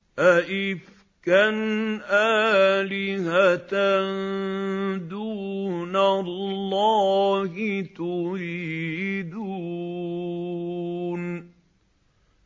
أَئِفْكًا آلِهَةً دُونَ اللَّهِ تُرِيدُونَ